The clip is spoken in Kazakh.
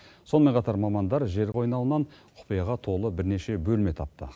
сонымен қатар мамандар жер қойнауынан құпияға толы бірнеше бөлме тапты